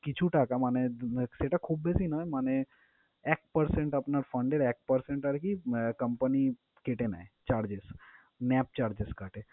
কিছু টাকা মানে সেটা খুব বেশি নয় মানে এক percent আপনার fund এর এক percent আরকি আহ company কেটে নেয় charges NAV charges কাটে।